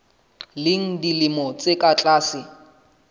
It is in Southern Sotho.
leng dilemo tse ka tlase